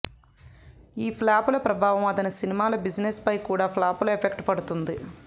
ఈ ఫ్లాపుల ప్రభావం అతని సినిమాల బిజినెస్ పై కూడా ఫ్లాపుల ఎఫెక్ట్ పడుతుంది